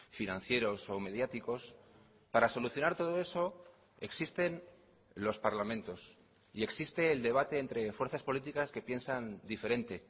financieros o mediáticos para solucionar todo eso existen los parlamentos y existe el debate entre fuerzas políticas que piensan diferente